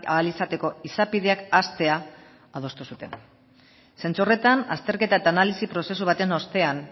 ahal izateko izapideak hastea adostu zuten zentzu horretan azterketa eta analisi prozesu baten ostean